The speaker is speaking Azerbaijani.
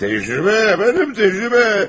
Təcrübə əfəndim, təcrübə!